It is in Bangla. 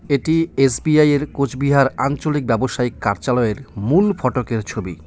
এটি এস_বি_আই -এর কোচবিহার আঞ্চলিক ব্যবসায়িক কার্যালয়ের মূল ফটকের ছবি।